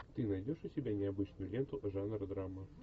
ты найдешь у себя необычную ленту жанра драма